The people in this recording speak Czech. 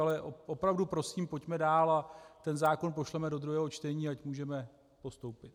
Ale opravdu prosím, pojďme dál a ten zákon pošleme do druhého čtení, ať můžeme postoupit.